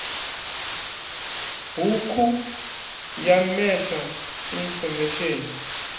hukhu ya meta infomesheni i